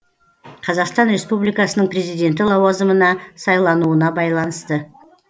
қазақстан республикасының президенті лауазымына сайлануына байланысты